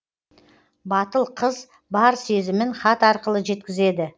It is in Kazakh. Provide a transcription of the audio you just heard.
батыл қыз бар сезімін хат арқылы жеткізеді